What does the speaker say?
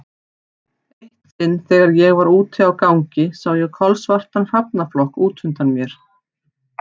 Eitt sinn þegar ég var úti á gangi sá ég kolsvartan hrafnaflokk út undan mér.